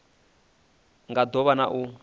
nga do vha na u